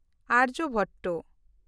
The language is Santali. ᱟᱨᱡᱚᱵᱷᱚᱴᱴᱚ